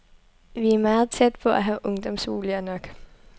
Vi er meget tæt på at have ungdomsboliger nok.